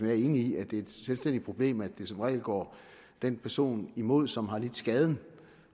er enig i at det er et selvstændigt problem at det som regel går den person imod som har lidt skaden